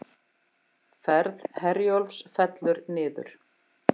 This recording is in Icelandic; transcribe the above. Ferð Herjólfs fellur niður